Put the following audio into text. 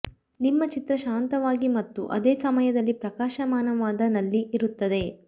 ನಿಮ್ಮ ಚಿತ್ರ ಶಾಂತವಾಗಿ ಮತ್ತು ಅದೇ ಸಮಯದಲ್ಲಿ ಪ್ರಕಾಶಮಾನವಾದ ನಲ್ಲಿ ಇರುತ್ತದೆ